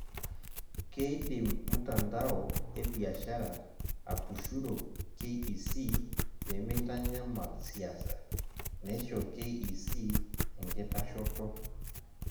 Keidim mtandao ebiashara atushuro KEC pemeitanyamal siasa, neisho KEC enkitashoto.